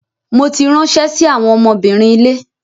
Mo ti ránṣẹ́ sí àwọn ọmọbìnrin ilé.